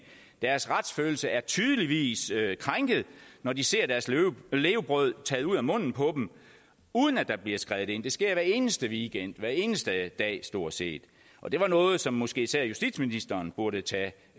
deres retsfølelse er tydeligvis krænket når de ser deres levebrød taget ud af munden på dem uden at der bliver skredet ind det sker hver eneste weekend hver eneste dag stort set og det er noget som måske især justitsministeren burde tage